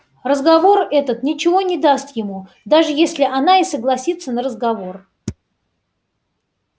разговор этот ничего не даст ему даже если она и согласится на разговор